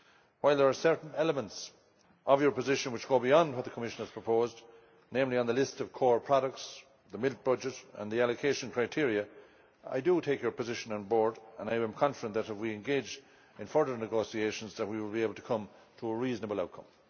While there are certain elements of your position which go beyond what the Commission has proposed, namely on the list of core products, the milk budget and the allocation criteria, I take your position on board and I am confident that if we engage in further negotiations, we will be able to come to a reasonable outcome.